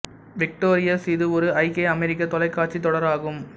victorious இது ஒரு ஐக்கிய அமெரிக்கத் தொலைக்காட்சி தொடர் ஆகும்